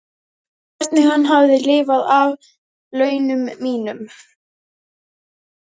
Hvernig hann hafði lifað af launum mínum.